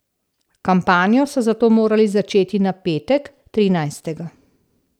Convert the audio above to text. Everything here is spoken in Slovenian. Kampanjo so zato morali začeti na petek, trinajstega.